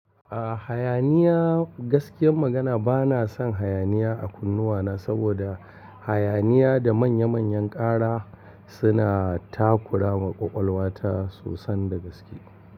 Ah hayaniya, gaskiyar magana bana son hayaniya a kunnuwana saboda hayaniya da manya manyan ƙara suna takura ma ƙwaƙwalwa ta sosan da gaske.